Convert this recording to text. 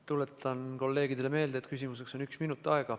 Tuletan kolleegidele meelde, et küsimuseks on aega üks minut.